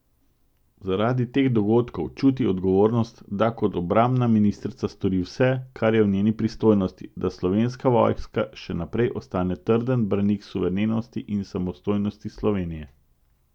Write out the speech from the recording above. Zaradi teh dogodkov čuti odgovornost, da kot obrambna ministrica stori vse, kar je v njenih pristojnostih, da slovenska vojska še naprej ostane trden branik suverenosti in samostojnosti Slovenije.